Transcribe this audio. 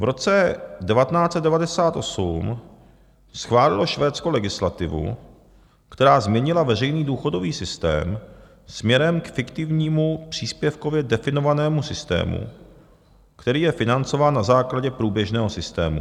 V roce 1998 schválilo Švédsko legislativu, která změnila veřejný důchodový systém směrem k fiktivnímu příspěvkově definovanému systému, který je financován na základě průběžného systému.